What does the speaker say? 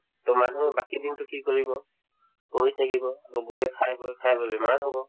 তে মানুহে বাকি দিনতো কি কৰিব শুই থাকিব বা বহি খাই বৈ খাই বৈ বেমাৰ হব